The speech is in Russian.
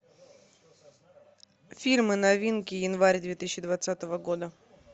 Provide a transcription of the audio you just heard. фильмы новинки январь две тысячи двадцатого года